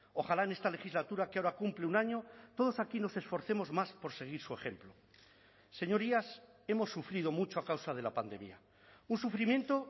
ojalá en esta legislatura que ahora cumple un año todos aquí nos esforcemos más por seguir su ejemplo señorías hemos sufrido mucho a causa de la pandemia un sufrimiento